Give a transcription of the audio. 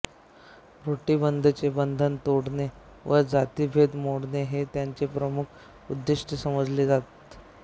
रोटीबंदीचे बंधन तोडणे व जातिभेद मोडणे हे त्यांचे प्रमुख उद्देश समजले जात